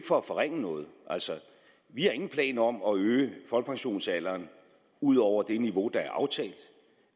for at forringe noget vi har ingen planer om at øge folkepensionsalderen ud over det niveau der